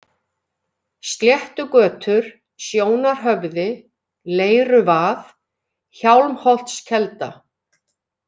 Sléttugötur, Sjónarhöfði, Leiruvað, Hjálmholtskelda